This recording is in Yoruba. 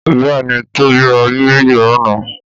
Bẹ́ẹ̀ ni, Tóbi ra Bíbélì lánàá.